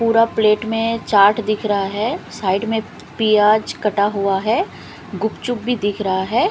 पूड़ा plate में चाट दिख रहा है साइड में पीयाज कटा हुआ है गुपचुप भी दिख रहा है।